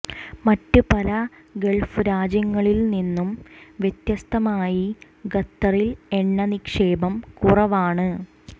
മറ്റ് പല ഗൾഫ് രാജ്യങ്ങളിൽ നിന്നും വ്യത്യസ്തമായി ഖത്തറിൽ എണ്ണ നിക്ഷേപം കുറവാണ്